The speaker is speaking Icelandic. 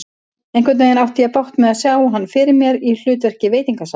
Einhvernveginn átti ég bágt með að sjá hann fyrir mér í hlutverki veitingasala.